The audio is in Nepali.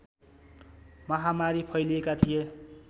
महामारी फैलिएका थिए